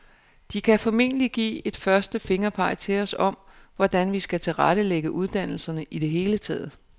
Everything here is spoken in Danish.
De kan formentlig give et første fingerpeg til os om, hvordan vi skal tilrettelægge uddannelserne i det hele taget.